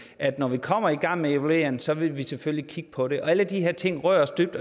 at når vi kommer i gang med evalueringen så vil vi selvfølgelig kigge på det alle de her ting berører os dybt